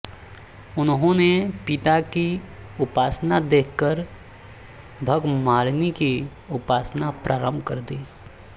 उन्होंने पिता की उपासना देखकर भगमालिनी की उपासना प्रारंभ कर दी